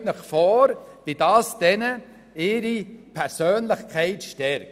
Stellen Sie sich vor, wie das deren Persönlichkeit stärkt!